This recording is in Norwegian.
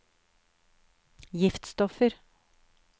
giftstoffer